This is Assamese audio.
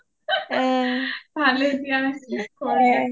ভালেই দিয়া